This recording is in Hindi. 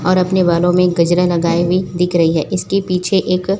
और अपने बालों में गजरा लगाये हुए दिख रही है इसके पीछे एक--